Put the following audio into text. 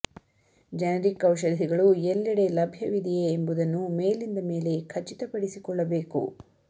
generic ಔಷಧಿಗಳು ಎಲ್ಲೆಡೆ ಲಭ್ಯವಿದೆಯೇ ಎಂಬುದನ್ನು ಮೇಲಿಂದ ಮೇಲೆ ಖಚಿತ ಪಡಿಸಿಕೊಳ್ಳಬೇಕು